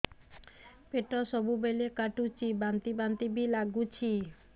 ପେଟ ସବୁବେଳେ କାଟୁଚି ବାନ୍ତି ବାନ୍ତି ବି ଲାଗୁଛି